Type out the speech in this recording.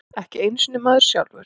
Ekki einu sinni maður sjálfur.